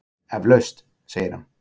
Eflaust, segir hann.